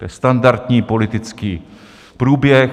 To je standardní politický průběh.